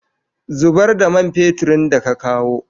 Zubar da man feturin da ka kawo!